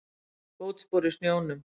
Fótspor í snjónum.